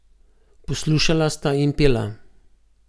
Poslušala sta in pela.